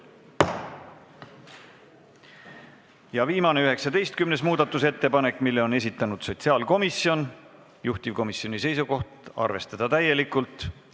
Ja viimase, 19. muudatusettepaneku on esitanud sotsiaalkomisjon, juhtivkomisjoni seisukoht on arvestada seda täielikult.